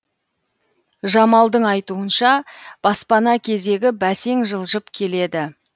жамалдың айтуынша баспана кезегі бәсең жылжып келеді